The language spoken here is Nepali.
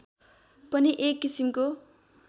पनि एक किसिमको